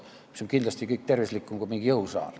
See kõik on kindlasti tervislikum kui mingi jõusaal.